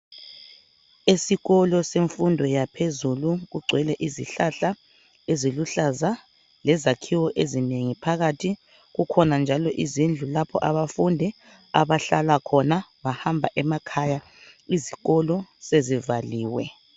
Esikolo semfundo yaphezulu kugcwele izihlahla eziluhlaza lezakhiwo ezinengi phakathi kukhona njalo izindlu lapho abafundi abahlala khona, bahamba emakhaya izikolo sezivaliwe.